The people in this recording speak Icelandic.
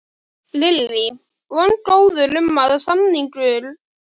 Lillý: Vongóður um að samningar náist í bráð?